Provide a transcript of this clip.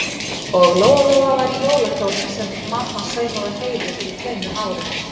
Og Lóa-Lóa var í jólakjólnum sem mamma saumaði á Heiðu fyrir tveimur árum.